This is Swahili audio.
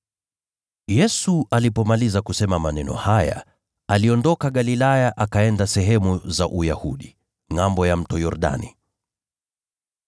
Yesu alipomaliza kusema maneno haya, aliondoka Galilaya, akaenda sehemu za Uyahudi, ngʼambo ya Mto Yordani.